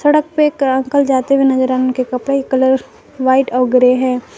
सड़क पे एक अंकल जाते हुए नजर आ उनके कपड़े के कलर व्हाइट और ग्रे है।